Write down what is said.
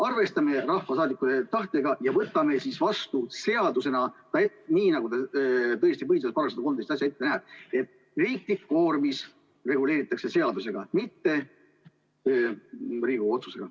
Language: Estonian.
Arvestame rahvasaadikute tahtega ja võtame selle vastu seadusena, nii nagu tõesti põhiseaduse § 114 ette näeb, et riiklikke koormisi reguleeritakse seadusega, mitte Riigikogu otsusega.